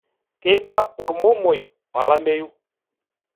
Keiba ormomoi olameyu.